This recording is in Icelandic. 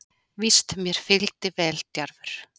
Víst mér fylgdi veldjarfur